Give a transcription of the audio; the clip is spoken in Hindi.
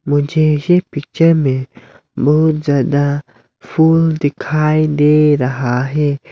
मुझे यही पिक्चर में बहुत ज्यादा फूल दिखाई दे रहा है।